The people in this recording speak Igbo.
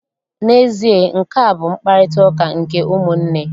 N'ezie, nkea bụ mkparịtaụka nke ụmụnne.